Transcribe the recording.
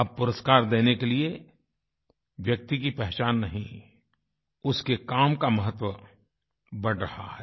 अब पुरस्कार देने के लिए व्यक्ति की पहचान नहीं उसके काम का महत्व बढ़ रहा है